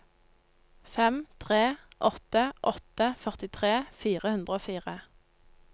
fem tre åtte åtte førtitre fire hundre og fire